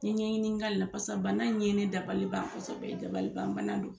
N ye ɲɛɲini k'a la bana in ye ne dabaliban kosɛbɛ ye dabalibanbana don